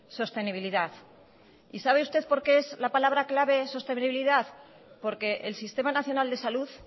sostenibilidad y sabe usted por qué es la palabra clave sostenibilidad porque el sistema nacional de salud